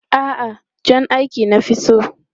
A'a, jan aiki na fi so.